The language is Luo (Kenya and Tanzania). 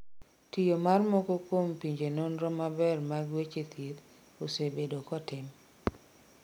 tiyo mar moko kuom pinje nonro maber mag weche thieth osebedo kotim